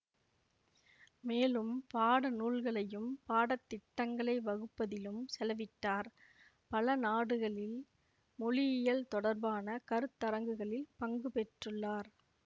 மேலும் பாடநூல்களையும் பாடத்திட்டங்களை வகுப்பதிலும் செலவிட்டார் பல நாடுகளில் மொழியியல் தொடர்பான கருத்தரங்குகளில் பங்குபெற்றுள்ளார்